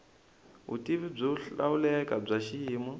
vutivi byo hlawuleka bya xiyimo